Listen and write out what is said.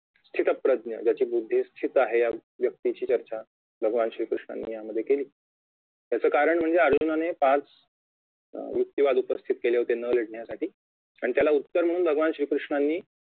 शीतप्रज्ञ ज्याची बुद्धी शीत आहे या व्यक्तींची ज्याच्या भगवान श्री कृष्णांनी यामध्ये केली याचे कारण म्हणजे अर्जुनाने पाच युक्तिवाद उपस्थीत केले होते न लढण्यासाठी आणि त्याला उत्तर म्हणून भगवान श्री कृष्णांनी